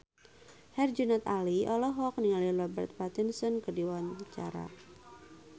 Herjunot Ali olohok ningali Robert Pattinson keur diwawancara